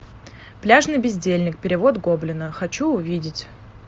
пляжный бездельник перевод гоблина хочу увидеть